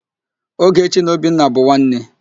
Ogechi na Obinna bụ nwanne.